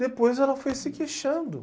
Depois ela foi se queixando.